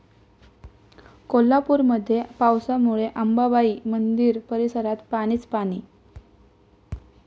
कोल्हापूरमध्ये पावसामुळे अंबाबाई मंदिर परिसरात पाणीच पाणी